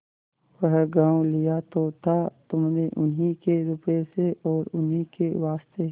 वह गॉँव लिया तो था तुमने उन्हीं के रुपये से और उन्हीं के वास्ते